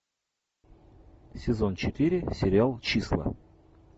сезон четыре сериал числа